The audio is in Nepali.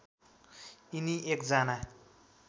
यिनी एकजना